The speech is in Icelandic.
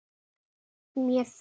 Anna Maja.